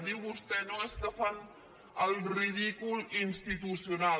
diu vostè no és que fan el ridícul institucional